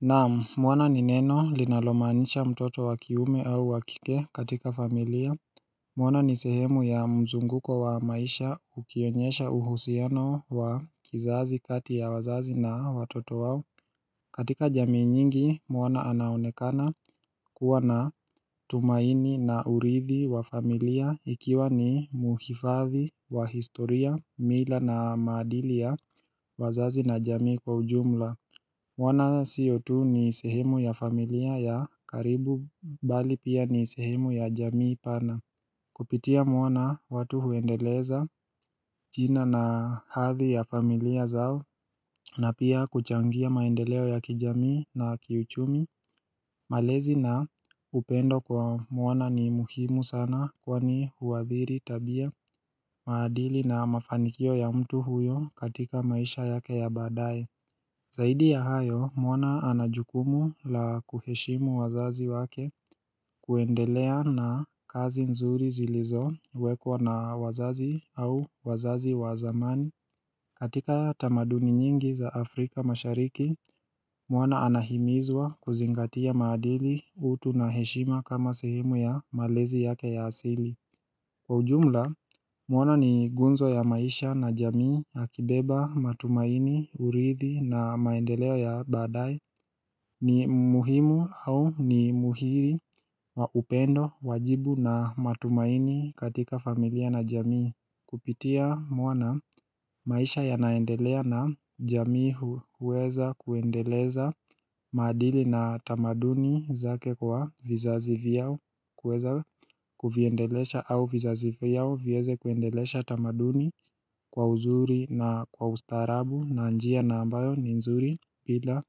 Na'am, mwana ni neno linalomaanisha mtoto wa kiume au wa kike katika familia Mwana ni sehemu ya mzunguko wa maisha ukionyesha uhusiano wa kizazi kati ya wazazi na watoto wao katika jamii nyingi mwana anaonekana kuwa na tumaini na urithi wa familia ikiwa ni mhifadhi wa historia mila na maadili ya wazazi na jamii kwa ujumla. Mwana sio tu ni sehemu ya familia ya karibu bali pia ni sehemu ya jamii pana. Kupitia mwana watu huendeleza jina na hadhi ya familia zao na pia kuchangia maendeleo ya kijamii na kiuchumi. Malezi na upendo kwa mwana ni muhimu sana kwa ni huathiri tabia, maadili na mafanikio ya mtu huyo katika maisha yake ya baadaye. Zaidi ya hayo, mwana ana jukumu la kuheshimu wazazi wake kuendelea na kazi nzuri zilizowekwa na wazazi au wazazi wa zamani. Katika tamadumi nyingi za Afrika mashariki, mwana anahimizwa kuzingatia maadili, utu na heshima kama sehemu ya malezi yake ya asili. Kwa ujumla, mwana ni gunzo ya maisha na jamii, akibeba, matumaini, urithi na maendeleo ya baadaye. Ni muhimu au ni muhiri wa upendo, wajibu na matumaini katika familia na jamii. Kupitia mwana maisha yanaendelea na jamii huweza kuendeleza maadili na tamaduni zake kwa vizazi vyao kuweza kuviendelesha au vizazi vyao viweze kuendelesha tamaduni kwa uzuri na kwa ustaarabu na njia na ambayo ni nzuri bila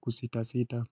kusitasita.